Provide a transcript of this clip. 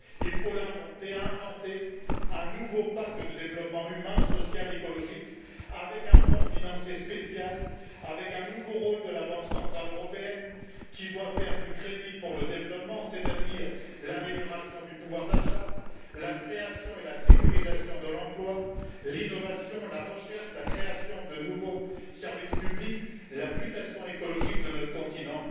Il faut l'inventer, inventer un nouveau pacte de développement humain, social, écologique, avec un fonds financier spécial, avec un nouveau rôle de la Banque centrale européenne qui doit faire du crédit pour le développement, c'est à dire l'amélioration du pouvoir d'achat, la création et la sécurisation de l'emploi, l'innovation, la recherche, la création de nouveaux services publics, la mutation écologique de notre continent.